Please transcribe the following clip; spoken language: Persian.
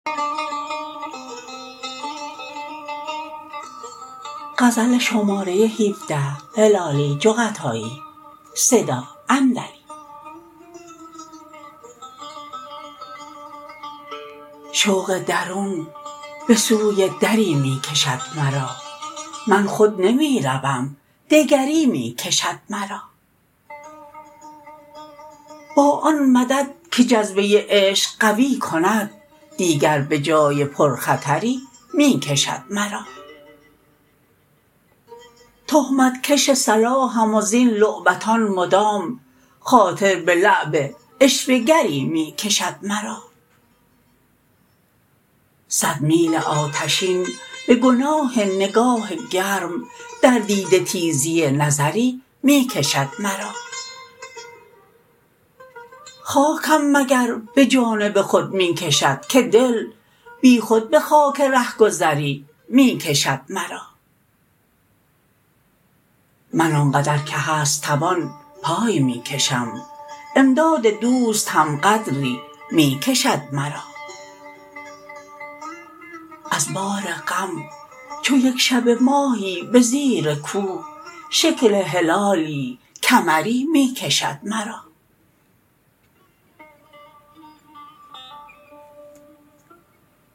شوق درون بسوی دری می کشد مرا من خود نمیروم دگری میکشد مرا با آن مدد که جذبه عشق قوی کند دیگر بجای پر خطری میکشد مرا تهمت کش صلاحم وزین لعبتان مدام خاطر بلعب عشوه گری میکشد مرا صد میل آتشین بگناه نگاه گرم در دیده تیزی نظری میکشد مرا خاکم مگر بجانب خود میکشد که دل بیخود بخاک رهگذری میکشد مرا من آنقدر که هست توان پای میکشم امداد دوست هم قدری میکشد مرا از بار غم چو یکشبه ماهی بزیر کوه شکل هلالی کمری میکشد مرا